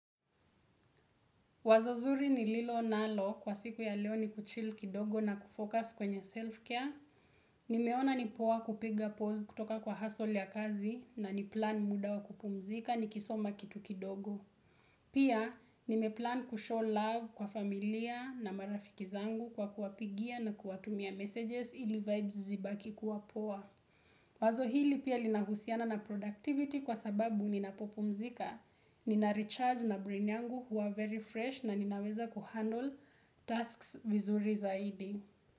Wazo zuri nililo nalo kwa siku ya leo ni kuchill kidogo na kufocus kwenye self-care. Nimeona ni poa kupiga pause kutoka kwa hustle ya kazi na ni plan muda wa kupumzika nikisoma kitu kidogo. Pia nimeplan kushow love kwa familia na marafiki zangu kwa kuwa pigia na kuwa tumia messages ili vibes zibaki kuwa poa. Wazo hili pia lina husiana na productivity kwa sababu ninapo pumzika, nina recharge na brain yangu huwa very fresh na ninaweza kuhandle tasks vizuri zaidi.